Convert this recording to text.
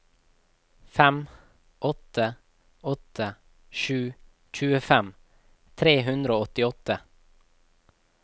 fem åtte åtte sju tjuefem tre hundre og åttiåtte